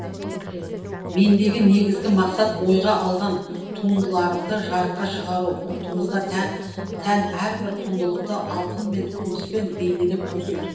мендегі негізгі мақсат ойға алған туындыларымды жарыққа шығару ұлтымызға тән әрбір құндылықты алтынмен күміспен бейнелеп көрсету